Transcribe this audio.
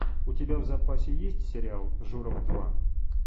у тебя в запасе есть сериал журов два